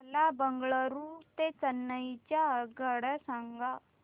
मला बंगळुरू ते चेन्नई च्या आगगाड्या सांगा